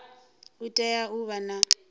u tea u vha na